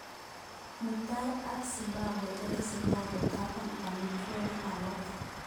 Mutai ak Zimbabwe kotestai kotaban emotunwek alak.